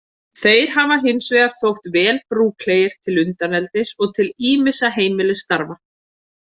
Þeir hafa hins vegar þótt vel brúklegir til undaneldis og til ýmissa heimilisstarfa.